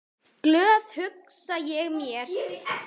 Glöð, hugsa ég með mér.